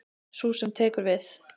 Sú sem tekur við.